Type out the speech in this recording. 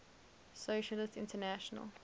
socialist international